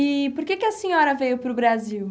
E por que que a senhora veio para o Brasil?